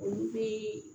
Olu bɛ